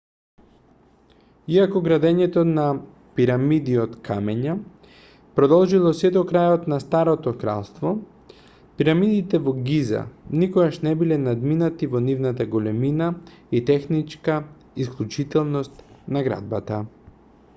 иако градењето на пирамиди од камења продолжило сѐ до крајот на старото кралство пирамидите во гиза никогаш не биле надминати во нивната големина и техничка исклучителност на градбата